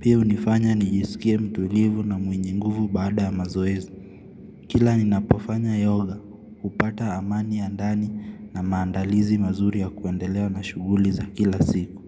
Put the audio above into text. Pia unifanya nijisikie mtulivu na mwenye nguvu baada ya mazoezi. Kila ninapofanya yoga, hupata amani ya ndani na maandalizi mazuri ya kuendelea na shuguli za kila siku.